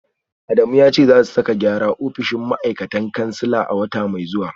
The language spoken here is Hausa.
Adamu ya ce za su sake gyara ofishin mataimakan kansila a wata mai zuwa